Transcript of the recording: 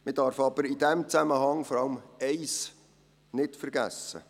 Man darf aber in diesem Zusammenhang vor allem eines nicht vergessen: